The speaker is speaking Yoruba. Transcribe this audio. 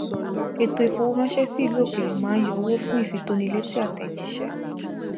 ètò ifowóránṣẹ sí ìlú òkèèrè máa ń yọ owó fún ìfitónilétí àtẹjíṣẹ